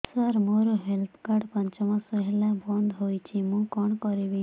ସାର ମୋର health card ପାଞ୍ଚ ମାସ ହେଲା ବଂଦ ହୋଇଛି ମୁଁ କଣ କରିବି